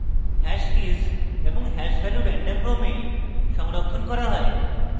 hash keys এবং hash value random ক্রমে সংরক্ষণ করা হয়